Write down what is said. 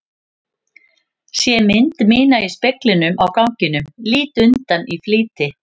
Sé mynd mína í speglinum á ganginum, lít undan í flýti.